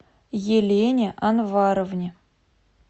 елене анваровне